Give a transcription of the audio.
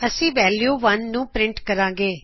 ਅੱਸੀ ਵੈਲਯੂ 1 ਨੂੰ ਪਰਿੰਟ ਕਰਾਗੇ